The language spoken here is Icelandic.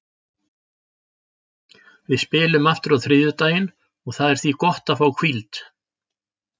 Við spilum aftur á þriðjudaginn og það er því gott að fá hvíld.